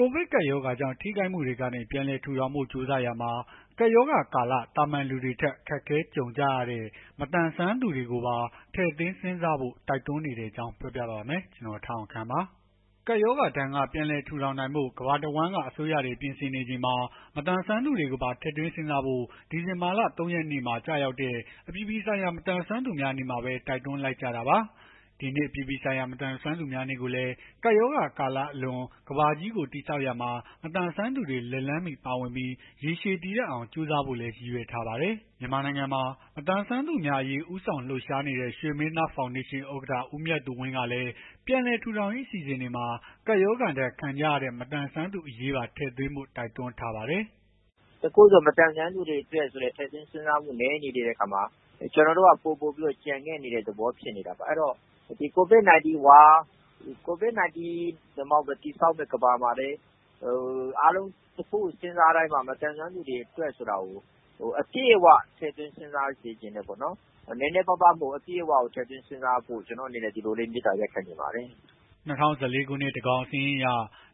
ကိုဗစ်ကပ်ရောဂါကြောင့် ထိခိုက်မှုတွေကနေ ပြန်လည်ထူထောင်ဖို့ ကြိုးစားရာမှာ ကပ်ရောဂါကာလ သာမာန်လူတွေထက် အခက်အခဲ ကြုံကြရတဲ့ မသန်စွမ်းသူတွေအရေးကိုပါ ထည့်သွင်းစဉ်းစားဖို့ တိုက်တွန်းနေတဲ့အကြောင်းကို ဗွီအိုအေမြန်မာပိုင်း သတင်းထောက် ကိုထက်အောင်ခန့်က ပြောပြပေးပါမယ်။ ကပ်ရောဂါဒဏ်က ပြန်လည်ထူထောင်နိုင်ဖို့ ကမ္ဘာတဝန်းအစိုးရတွေ ပြင်ဆင်နေချိန်မှာ မသန်စွမ်းသူတွေကိုပါ ထည့်သွင်းစဉ်းစားဖို့ ဒီဇင်ဘာလ ၃ ရက်နေ့မှာ ကျရောက်တဲ့ အပြည်ပြည်ဆိုင်ရာ မသန်စွမ်းသူများနေ့မှာပဲ တိုက်တွန်းလိုက်ကြတာပါ။ ဒီနှစ် အပြည်ပြည်ဆိုင်ရာ မသန်စွမ်းသူများနေ့ကိုလည်း ကပ်ရောဂါကာလအလွန် ကမ္ဘာကြီးကို တည်ဆောက်ရာမှာ မသန်စွမ်းသူတွေ လက်လှမ်းမီ ပါဝင်ပြီး ရေရှည်တည်တံ့အောင် ကြိုးစားဖို့လည်း ရည်ရွယ်ထားပါတယ်။ မြန်မာနိုင်ငံမှာ မသန်စွမ်းသူများအရေး ဦးဆောင်လှုပ်ရှားနေတဲ့ ရွှေမင်းသား ဖောင်ဒေးရှင်း ဥက္ကဋ္ဌ ဦးမြတ်သူဝင်းကလည်း ပြန်လည်ထူထောင်ရေး အစီအစဉ်တွေမှာ ကပ်ရောဂါဒဏ် ခံကြရတဲ့ မသန်စွမ်းသူတွေအရေး ထည့်သွင်းဖို့ တိုက်တွန်းထားပါတယ်။ “တခုခုဆို မသန်စွမ်းသူတွေအတွက် ထည့်သွင်းစဉ်းစားပေးဖို့ နည်းနေတဲ့အခါမှာ ကိုဗစ် ၁၉ အလွန် တည်ဆောက်မယ့် ကမ္ဘာမှာလည်း အားလုံး တခုခုစဉ်းစားတိုင်းမှာ မသန်စွမ်းသူတွေအတွက် အပြည့်အ၀ ထည့်သွင်း စဉ်းစားစေချင်တယ်ပေါ့နော်။ နည်းနည်းမဟုတ်ဘဲ အပြည့်အ၀ ထည့်သွင်းစဉ်းစားပေးဖို့ ကျနော့်အနေနဲ့ မေတ္တာ ရပ်ခံချင်ပါတယ်။” ၂၀၁၄ ခုနှစ် သန်းခေါင်စာရင်းအရ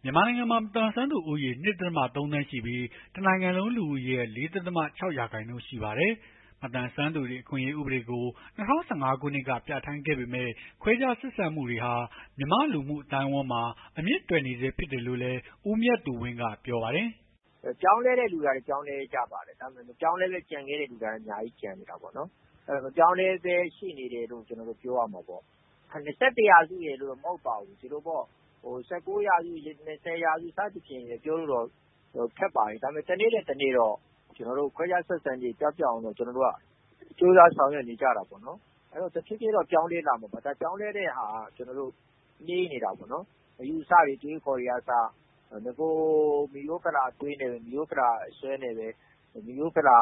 မြန်မာနိုင်ငံမှာ မသန်စွမ်းသူဦးရေ ၂.၃ သန်းရှိပြီး တနိုင်ငံလုံး လူဦးရေရဲ့ ၄.၆ ရာခိုင်နှုန်း ရှိပါတယ်။ မသန်စွမ်းသူတွေအခွင့်အရေး ဥပဒေကို ၂၀၁၅ ခုနှစ်က ပြဌာန်းခဲ့ပေမဲ့ ခွဲခြားဆက်ဆံမှုတွေဟာ မြန်မာ့လူမှုအသိုင်းအဝန်းမှာ အမြစ်တွယ်နေဆဲ ဖြစ်တယ်လို့လည်း ဦးမြတ်သူဝင်းက ပြောပါတယ်။ “ပြောင်းလဲတဲ့သူတွေကလည်း ပြောင်းလဲကြပါတယ်။ ဒါပေမဲ့ မပြောင်းလဲဘဲ ကျန်နေတဲ့သူတွေကလည်း ကျန်နေကြတာပေါ့နော်။ မပြောင်းလဲဆဲရှိနေတယ်လို့ ကျနော်တို့ ပြောရမှာပေါ့။ ၂၁ ရာစုရယ်လို့တော့ မဟုတ်ပါဘူး။ ဒီလိုပေါ့။ ၁၉ ရာစု ၂၀ ရာစုဆိုပြီး ပြောဖို့တော့ ခက်ပါတယ်။ ဒါပေမဲ့ တနေ့ထက် တနေ့တော့ ခွဲခြား ဆက်ဆံခြင်းတွေ ပျောက်ပျက်အောင် ကျနော်တို့က ကြိုးစားဆောင်ရွက်နေကြတာပေါ့နော်။ တဖြေးဖြေးတော့ ပြောင်းလဲလာမှာပေါ့နော်။ ပြောင်းလဲတဲ့ဟာက နှေးနေတာပေါ့နော်။ အယူအဆတွေ အတွေး အခေါ်တွေကအစ ဖိရိုးဖလာအတွေး မိရိုးဖလာ အစွဲနဲ့ပဲ မိရိုးဖလာ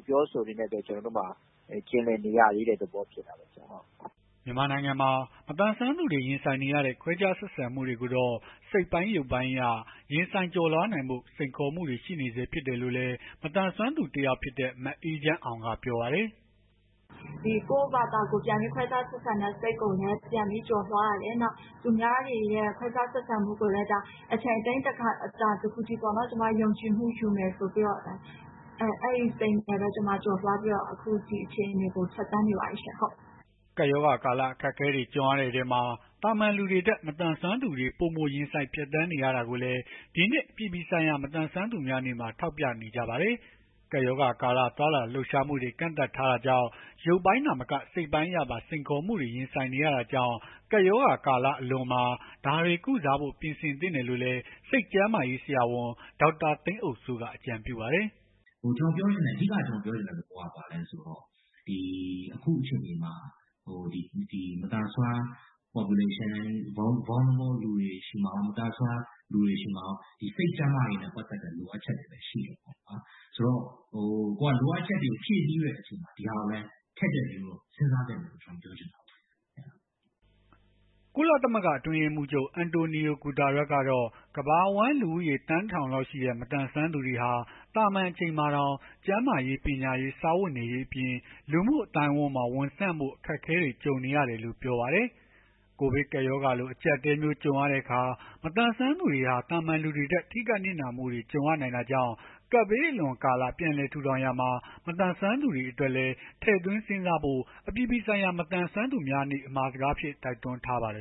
အပြောအဆိုတွေနဲ့ပဲ ကျွန်တော်တို့မှာ ကျင်လည်နေရသေးတဲ့ သဘောဖြစ်တာပေါ့နော်။” မြန်မာနိုင်ငံမှာ မသန်စွမ်းသူတွေ ရင်ဆိုင်နေရတဲ့ ခွဲခြားဆက်ဆံမှုတွေကိုတော့ စိတ်ပိုင်း၊ ရုပ်ပိုင်းအရ ရင်ဆိုင်ကျော်လွှားနိုင်ဖို့ စိန်ခေါ်မှုတွေ ရှိနေဆဲ ဖြစ်တယ်လို့လည်း မသန်စွမ်းသူ တယောက်ဖြစ်တဲ့ မအေးချမ်းအောင်က ပြောပါတယ်။ “ကိုယ့်ဘာသာ ခွဲခြားဆက်ဆံတဲ့ စိတ်ကိုလည်း ပြန်ပြီးကျော်လွှားရတယ်။ သူများတွေရဲ့ခွဲခြားဆက်ဆံမှုကိုလည်း အချိန်အတိုင်းအတာတခုထိ ကျမ ယုံကြည်မှုယူမယ်ဆိုပြီးတော့ပေါ့ အဲ့ဒီစိတ်နဲ့ပဲ ကျမ ကျော်လွှားပြီး ဒီအခြေအနေကို ဖြတ်သန်းနေတယ်ပေါ့။” ကပ်ရောဂါကာလ အခက်အခဲတွေ ကြုံရတဲ့အထဲမှာ သာမာန်လူတွေထက် မသန်စွမ်းသူတွေ ပိုမိုရင်ဆိုင်ဖြတ်သန်းနေရတာကိုလည်း ဒီနှစ် အပြည်ပြည်ဆိုင်ရာ မသန်စွမ်းသူများနေ့မှာ ထောက်ပြနေကြပါတယ်။ ကပ်ရောဂါကာလ သွားလာလှုပ်ရှားမှုတွေ ကန့်သတ်ထားတာကြောင့် ရုပ်ပိုင်း သာမက စိတ်ပိုင်းအရပါ စိန်ခေါ်မှုတွေ ရင်ဆိုင်နေရတာကြောင့် ကပ်ရောဂါလွန်ကာလမှာ ဒါတွေကို ကုစားဖို့ ပြင်ဆင်သင့်တယ်လို့လည်း စိတ်ကျန်းမာရေး ဆရာဝန် ဒေါက်တာ သိန်းအုပ်စိန်က အကြံပြုပါတယ်။ “အဓိက ကျနော်ပြောချင်တဲ့ သဘောက မသန်စွမ်း Population၊ မသန်စွမ်းလူတွေဆီမှာကော စိတ်ကျန်းမာရေးနဲ့ ပတ်သက်တဲ့ လိုအပ်ချက်တွေ ရှိနေတယ်။ လိုအပ်ချက်တွေကို ဖြည့်ဆည်းတဲ့အချိန်မှာ ဒီဟာကိုလည်း ထည့်သွင်း စဉ်းစားသင့်တယ်လို့ ကျနော်ထင်တယ်။” ကုလသမဂ္ဂ အတွင်းရေးမှူးချုပ် အန်တိုနီယို ဂုတားရပ်စ် ကတော့ ကမ္ဘာအဝန်း လူဦးရေ သန်း ၁,၀၀၀ လောက်ရှိတဲ့ မသန်စွမ်းသူတွေဟာ သာမန် အချိန်မှာတောင် ကျန်းမာရေး၊ ပညာရေး၊ စားဝတ်နေရေးအပြင် လူမှုအသိုင်းဝန်းမှာ ဝင်ဆန့်ဖို့ အခက်အခဲတွေ ကြုံနေရတယ်လို့ ပြောပါတယ်။ ကိုဗစ်ကပ်ရောဂါလို အကြပ်အတည်းမျိုး ကြုံရတဲ့အခါ မသန်စွမ်းသူတွေဟာ သာမာန်လူတွေထက် ထိခိုက်နစ်နာမှုတွေ ကြုံရနိုင်တာကြောင့် ကပ်ဘေးအလွန်ကာလ ပြန်လည်ထူထောင်ရာမှာ မသန်စွမ်းသူတွေအတွက်လည်း ထည့်သွင်းစဉ်းစားဖို့ အပြည်ပြည်ဆိုင်ရာ မသန်စွမ်းသူများနေ့ အမှာစကားအဖြစ် တိုက်တွန်းထားပါတယ်